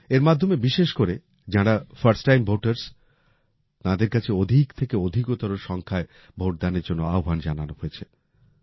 এর মাধ্যমে বিশেষ করে যাঁরা ফার্স্ট টাইম ভোটারস তাঁদের কাছে অধিক থেকে অধিকতর সংখ্যায় ভোটদানের জন্য আহ্বান জানানো হয়েছে